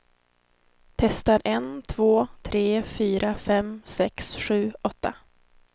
Testar en två tre fyra fem sex sju åtta.